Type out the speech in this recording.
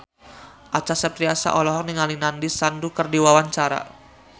Acha Septriasa olohok ningali Nandish Sandhu keur diwawancara